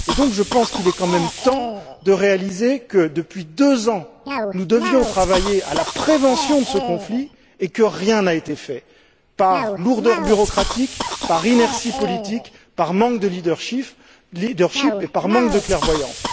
Et donc, je pense qu'il est quand même temps d'admettre que, depuis deux ans, nous devions travailler à la prévention de ce conflit, et que rien n'a été fait, par lourdeur démocratique, par inertie politique, par manque de leadership et par manque de clairvoyance.